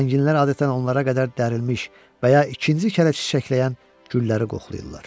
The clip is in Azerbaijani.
Zənginlər adətən onlara qədər dərilmiş və ya ikinci kərə çiçəkləyən gülləri qoxlayırlar.